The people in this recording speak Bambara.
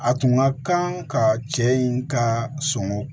A tun ka kan ka cɛ in ka son